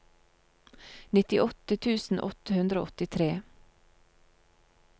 nittiåtte tusen åtte hundre og åttitre